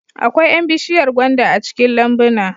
Akwai 'yan bishiyar gwanda a cikin lambuna